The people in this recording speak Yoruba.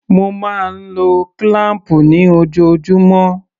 Mo máa ń lo kílám̀pù ni ojoojúmọ́.